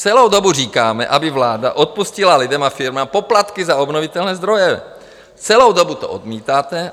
Celou dobu říkáme, aby vláda odpustila lidem a firmám poplatky za obnovitelné zdroje, celou dobu to odmítáte.